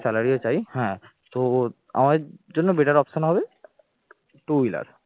salary ও চাই হ্যাঁ তো ও আমাদের জন্য better option হবে two wheeler